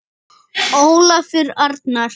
Ólafur Arnar.